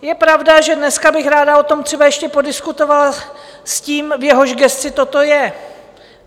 Je pravda, že dneska bych ráda o tom třeba ještě podiskutovala s tím, v jehož gesci toto je.